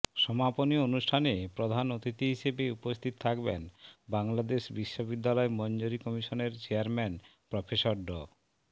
সমাপনী অনুষ্ঠানে প্রধান অতিথি হিসেবে উপস্থিত থাকবেন বাংলাদেশ বিশ্ববিদ্যালয় মঞ্জুরি কমিশনের চেয়ারম্যান প্রফেসর ড